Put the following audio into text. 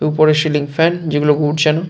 ওপরে ceiling fan যেগুলো ঘুরছেন।